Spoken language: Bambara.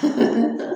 Unhun